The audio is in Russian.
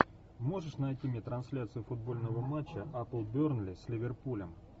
можешь найти мне трансляцию футбольного матча апл бернли с ливерпулем